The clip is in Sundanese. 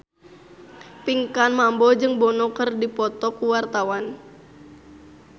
Pinkan Mambo jeung Bono keur dipoto ku wartawan